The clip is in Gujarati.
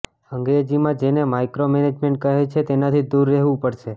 અંગ્રેજીમાં જેને માઈક્રોમૅનેજમેન્ટ કહે છે તેનાથી દૂર રહેવું પડશે